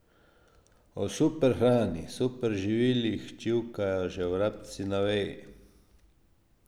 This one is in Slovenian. O superhrani, superživilih čivkajo že vrabci na veji.